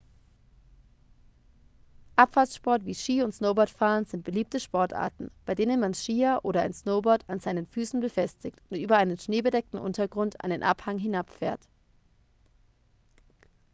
abfahrtssport wie ski und snowboardfahren sind beliebte sportarten bei denen man skier oder ein snowboard an seinen füßen befestigt und über einen schneebedeckten untergrund einen abhang hinabfährt